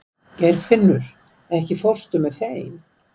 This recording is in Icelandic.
Geirfinnur, ekki fórstu með þeim?